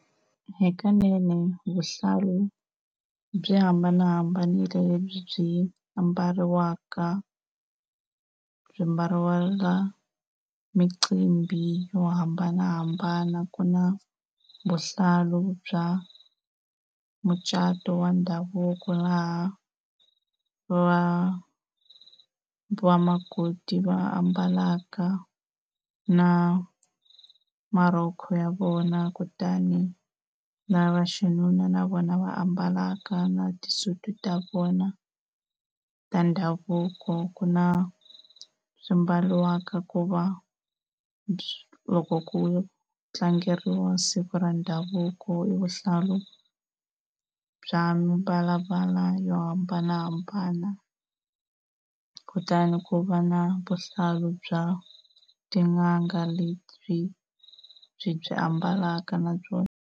Hikanene vuhlalu byi hambanahambanile lebyi byi ambariwaka, byi mbariwaka micimbini yo hambanahambana. Ku na vuhlalu bya mucato wa ndhavuko laha va vamakoti va ambalaka na marhoko ya vona, kutani na vaxinuna na vona va ambalaka na tisudi ta vona ta ndhavuko. Ku na swi mbariwaka ku va loko ku tlangeriwa siku ra ndhavuko i vuhlalu bya mimbalambala yo hambanahambana. Kutani ku va na vuhlalu bya tin'anga lebyi byi byi ambalaka na byona.